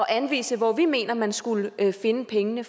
anvise hvor vi mener man skulle finde pengene